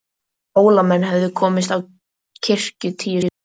Hólamenn höfðu komist á kirkju tíu saman.